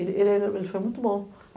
Ele era, ele foi muito bom.